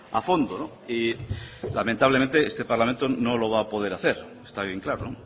a fondo y lamentablemente este parlamento no lo va a poder hacer está bien claro